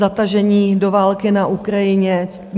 Zatažení do války na Ukrajině.